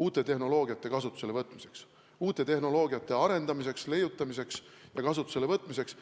uute tehnoloogiate kasutusele võtmiseks, uute tehnoloogiate leiutamiseks ja arendamiseks.